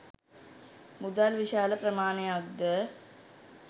මුදල් විශාල ප්‍රමාණයක්ද